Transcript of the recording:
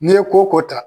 N'i ye ko ko ta